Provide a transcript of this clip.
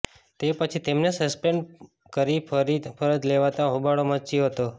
તે પછી તેમને સસ્પેન્ડ કરી ફરી ફરજ લેવાતાં હોબાળો મચ્યો હતો